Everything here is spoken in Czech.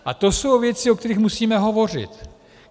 A to jsou věci, o kterých musíme hovořit.